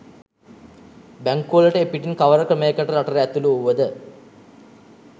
බැංකුවලට එපිටින් කවර ක්‍රමයකට රටට ඇතුළු වුවද